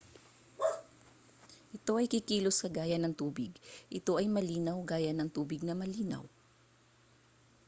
ito ay kikilos kagaya ng tubig ito ay malinaw gaya ng tubig na malinaw